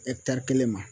kelen ma